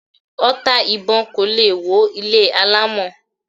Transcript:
Ọta ìbọn kò lè wọ ilé alámọ̀